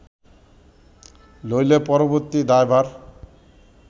নইলে পরবর্তী দায়ভার